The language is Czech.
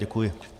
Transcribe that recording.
Děkuji.